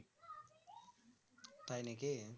তাই নাকি